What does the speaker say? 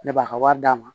Ne b'a ka wari d'a ma